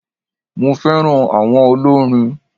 Mo féràn áwon olórin